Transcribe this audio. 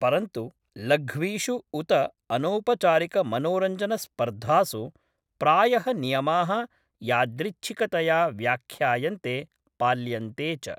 परन्तु, लघ्वीषु उत अनौपचारिकमनोरञ्जनस्पर्धासु प्रायः नियमाः यादृच्छिकतया व्याख्यायन्ते, पाल्यन्ते च।